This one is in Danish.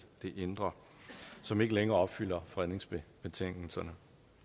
indre som ikke længere opfylder fredningsbetingelserne